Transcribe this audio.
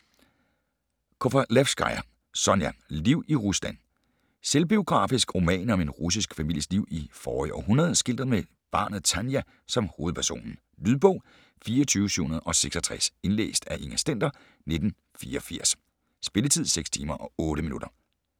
Kovalevskaja, Sonja: Liv i Rusland Selvbiografisk roman om en russisk families liv i forrige århundrede, skildret med barnet Tanja som hovedperson. Lydbog 24766 Indlæst af Inger Stender, 1984. Spilletid: 6 timer, 8 minutter.